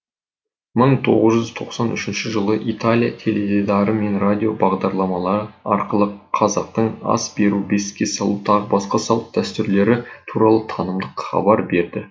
мың тоғыз жүз тоқсан үшінші жылы италия теледидары мен радио бағдарламалары арқылы қазақтың ас беру бесікке салу тағы басқа салт дәстүрлері туралы танымдық хабар берді